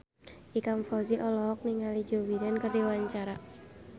Ikang Fawzi olohok ningali Joe Biden keur diwawancara